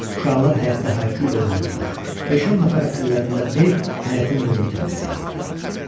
Uşaqlar həyətdə hayküylə oynayırdılar, beş-on nəfər əllərində bel həyətin qumunu təmizləyirdilər.